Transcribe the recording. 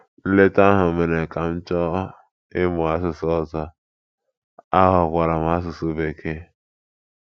Nleta ahụ ahụ mere ka m chọọ ịmụ asụsụ ọzọ, ahọkwaara m asụsụ Bekee.